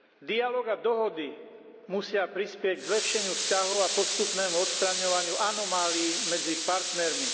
Dialóg a dohody musia prispieť k zlepšeniu vzťahov a k postupnému odstraňovaniu anomálií medzi partnermi.